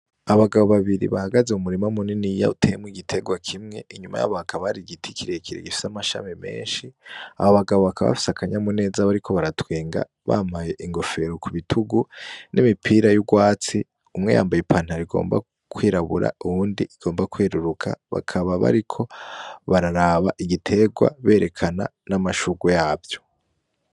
Abagabo babiri bahagaze mu murima munini yiya utemwe igiterwa kimwe inyuma y'abakabari igiti kiriekire gifisa amashami menshi abo bagabo bakabafisa akanya mu neza bari ko baratwenga bamaye ingofero ku bitugu n'imipira y'urwatsi umweyambaye i pantar igomba kwirabura uwundi igomba kweruruka bakaba bariko baraa aba igitegwa berekana n'amashuru yavyo.